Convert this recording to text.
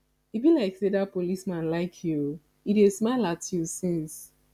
e be like say dat policeman like you oo he dey smile at you since